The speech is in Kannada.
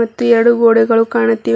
ಮತ್ತು ಎರಡು ಗೋಡೆಗಳು ಕಾಣುತ್ತಿವೆ ಲೆ--